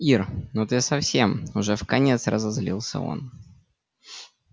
ира ну ты совсем уже вконец разозлился он